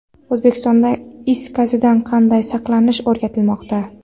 O‘zbekistonda is gazidan qanday saqlanish o‘rgatilmoqda.